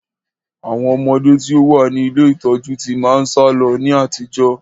Àwọn ọmọde tí ó wá ní ilé ìtọ́jú tí máa ń sálọ ní àtijọ́